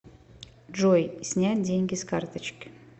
джой снять деньги с карточки